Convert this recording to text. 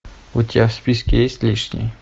у тебя в списке есть лишний